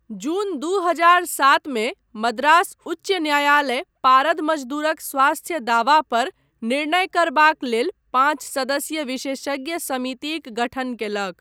जून दू हजार सात मे मद्रास उच्च न्यायालय पारद मजदूरक स्वास्थ्य दावा पर निर्णय करबाक लेल पाँच सदस्यीय विशेषज्ञ समितिक गठन कयलक।